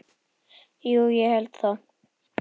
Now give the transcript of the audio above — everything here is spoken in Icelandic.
Jú, ég held það.